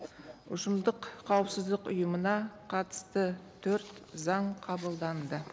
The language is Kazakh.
ұжымдық қауіпсіздік ұйымына қатысты төрт заң қабылданды